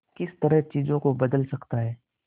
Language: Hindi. किस तरह चीजों को बदल सकता है